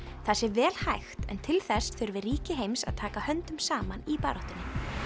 það sé vel hægt en til þess þurfi ríki heims að taka höndum saman í baráttunni